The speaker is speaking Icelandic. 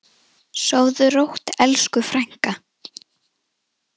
Sofðu rótt, elsku frænka.